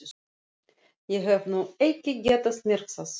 Ég hef nú ekki getað merkt það.